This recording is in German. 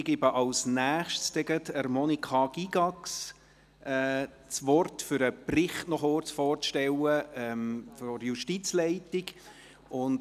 Ich gebe als Nächstes gleich Monika Gygax das Wort, um den Bericht der Justizleitung noch kurz vorzustellen.